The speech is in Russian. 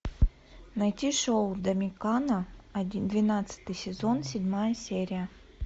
найти шоу домикана двенадцатый сезон седьмая серия